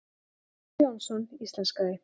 Hjörtur Jónsson íslenskaði.